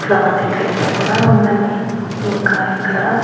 Flower decoration కూడా ఉందండి ఇంకా ఇక్కడ.